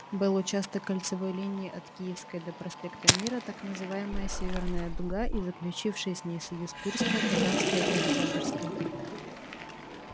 был участок кольцевой линии от киевской до проспекта мира так называемая северная дуга и заключившие с ней союз курская таганская и октябрьская